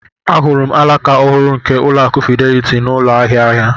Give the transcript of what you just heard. Ahụrụ m alaka ọhụrụ nke Ụlọakụ Fidelity n'ụlọ ahịa ahịa.